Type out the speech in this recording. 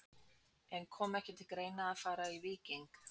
En kom ekki til greina að fara í Víking?